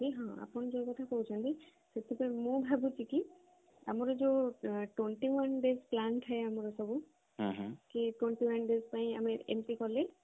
ଆପଣ ଯୋଉ କଥା କହୁଛନ୍ତି କି ସେଥିପାଇଁ ମୁଁ ଭାବୁଛି କି ଆମର ଯୋଉ twenty one days plan ଥାଏ ଆମର ସବୁ କି twenty one days ପାଇଁ ଆମେ ଏମିତି କଲେ